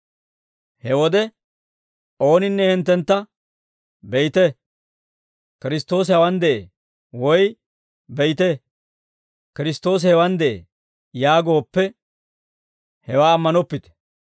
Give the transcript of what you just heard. He wode ooninne hinttentta, «Be'ite; Kiristtoosi hawaan de'ee» woy, «Be'ite; Kiristtoosi, hewaan de'ee» yaagooppe, hewaa ammanoppite.